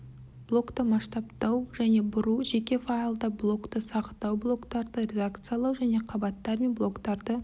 блокты масштабтау және бұру жеке файлда блокты сақтау блоктарды редакциялау және қабаттар мен блоктарды